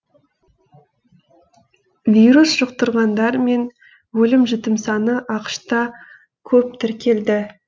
вирус жұқтырғандар мен өлім жітім саны ақш та көп тіркелді